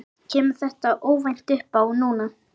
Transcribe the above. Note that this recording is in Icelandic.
Kemur þetta óvænt uppá núna?